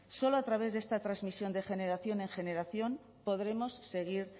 solo a través de esta transmisión de generación en generación podremos seguir